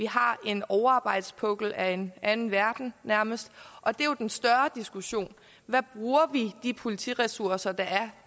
har en overarbejdspukkel af en anden verden nærmest og det er jo en større diskussion hvad bruger vi de politiressourcer der er